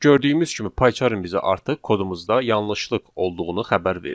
Gördüyümüz kimi payçərin bizə artıq kodumuzda yanlışlıq olduğunu xəbər verdi.